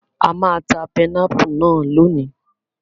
A máa ta pẹnápù náà lónìí.